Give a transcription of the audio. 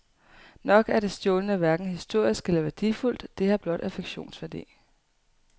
Nok er det stjålne hverken historisk eller værdifuldt, det har blot affektionsværdi.